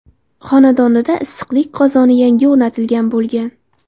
xonadonida issiqlik qozoni yangi o‘rnatilgan bo‘lgan.